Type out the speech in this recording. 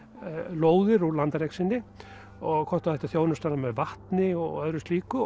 lóðir úr landareign sinni hvort það ætti að þjónusta hana með vatni og öðru slíku